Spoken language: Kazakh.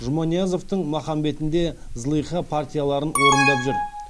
жұманиязовтың махамбетінде зылиха партияларын орындап жүр